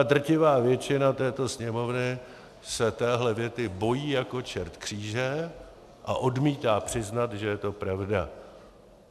A drtivá většina této Sněmovny se téhle věty bojí jako čert kříže a odmítá přiznat, že je to pravda.